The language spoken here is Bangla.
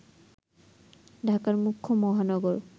ঢাকার মুখ্য মহানগর